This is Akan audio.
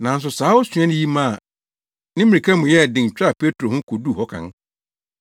Nanso saa osuani yi maa ne mmirika mu yɛɛ den twaa Petro ho koduu hɔ kan.